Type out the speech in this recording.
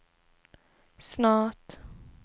snart